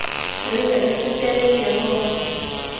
re ye re sitele jehova